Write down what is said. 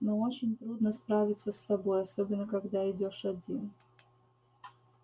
но очень трудно справиться с собой особенно когда идёшь один